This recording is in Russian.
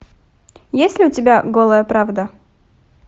есть ли у тебя голая правда